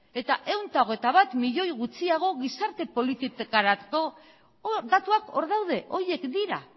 eta ehun eta hogeita bat milioi gutxiago gizarte politikarako datuak hor daude horiek dira